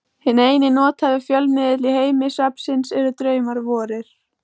Hinn eini nothæfi fjölmiðill í heimi svefnsins eru draumar vorir.